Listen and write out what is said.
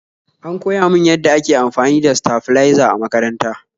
An koya min yadda ake amfani da saflizer a makaranta